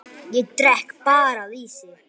Ég drekk bara lýsi!